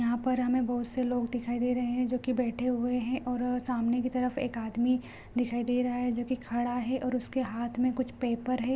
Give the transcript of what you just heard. यहाँ पर हमें बहोत से लोग दिखाई दे रहे है जो की बैठे हुए हैं और सामने की तरफ एक आदमी दिखाई दे रहा है जो की खड़ा है और उसके हाथ में कुछ पेपर है।